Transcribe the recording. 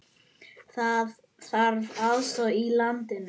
Þá þarf aðstöðu í landi.